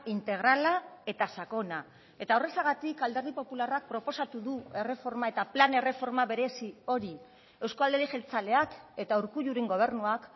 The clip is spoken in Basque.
integrala eta sakona eta horrexegatik alderdi popularrak proposatu du erreforma eta plan erreforma berezi hori euzko alderdi jeltzaleak eta urkulluren gobernuak